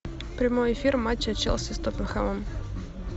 прямой эфир матча челси с тоттенхэмом